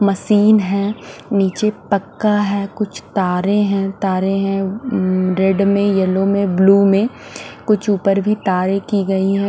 Machine है नीचे पक्का है कुछ तारे हैं तारे हैं उम्म रेड में येलो में ब्लू में कुछ ऊपर भी तारें की गई है।